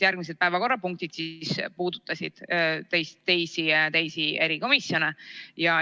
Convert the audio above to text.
Järgmised päevakorrapunktid puudutasid nimelt teisi erikomisjone.